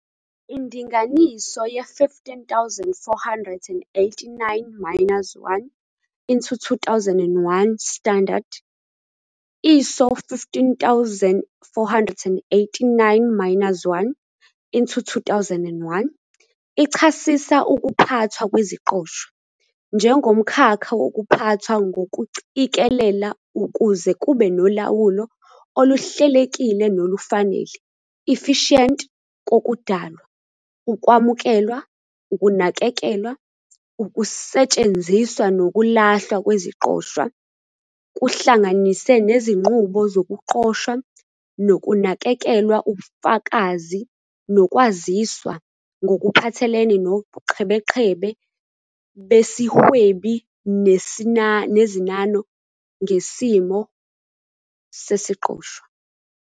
Indinganiso ye- 15489-1- 2001 standard, "ISO 15489-1-2001", ichasisa ukuphathwa kweziqoshwa "njengomkhakha wokuphathwa ngokucikelela ukuze kube nolawulo oluhlelekile nolufanele, efficient, kokudalwa, ukwamukelwa, ukunakekelwa, ukusetshenziswa nokulahlwa kweziqoshwa, kuhlanganise nezinqubo zokuqoshwa nokunakekelwa ubufakazi nokwaziswa ngokuphathelene nobuqhebeqhebe besihwebi nezinano ngesimo sesiqoshwa."